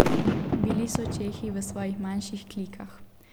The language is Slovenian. Bili so čehi v svojih manjših klikah.